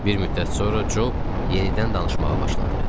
Bir müddət sonra Cob yenidən danışmağa başladı.